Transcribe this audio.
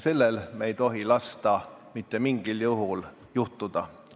Sellel ei tohi me mitte mingil juhul lasta juhtuda.